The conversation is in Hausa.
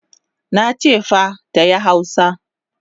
Nache fa tayi hausa!